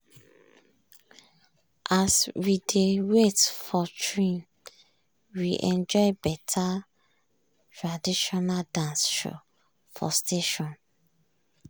as we dey wait for train we enjoy better traditional dance show for station.